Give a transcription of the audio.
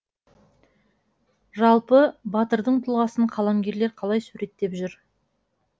жалпы батырдың тұлғасын қаламгерлер қалай суреттеп жүр